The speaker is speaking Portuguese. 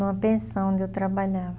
Numa pensão onde eu trabalhava.